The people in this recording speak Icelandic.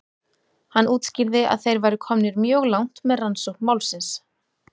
Hann útskýrði að þeir væru komnir mjög langt með rannsókn málsins.